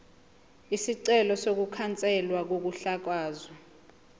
isicelo sokukhanselwa kokuhlakazwa